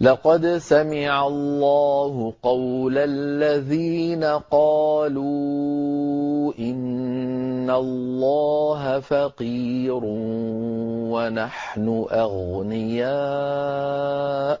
لَّقَدْ سَمِعَ اللَّهُ قَوْلَ الَّذِينَ قَالُوا إِنَّ اللَّهَ فَقِيرٌ وَنَحْنُ أَغْنِيَاءُ ۘ